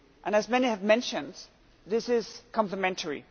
As many have mentioned, this is complimentary